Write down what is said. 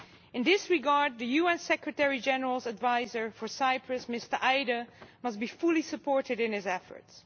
In this regard the UN Secretary General's Adviser for Cyprus, Mr Eide, must be fully supported in his efforts.